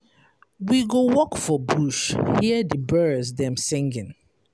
We go walk for bush, hear di birds dem singing.